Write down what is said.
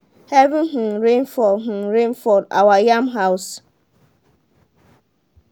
heavy um rain fall um rain fall our yam house